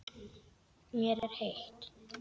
Mér er heitt.